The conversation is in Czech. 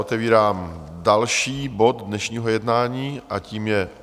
Otevírám další bod dnešního jednání a tím je